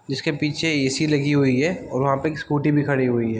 जिसके पीछे ऐ.सी. लगी हुई है और वहाँ पे एक स्कूटी भी खड़ी हुई है |